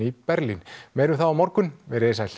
í Berlín meira um það á morgun veriði sæl